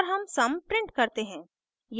और sum sum print करते हैं